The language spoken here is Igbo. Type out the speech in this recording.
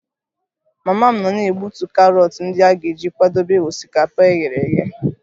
Mama m nọ na-egbutu karọt ndị a ga-eji kwadebe osikapa e ghere eghe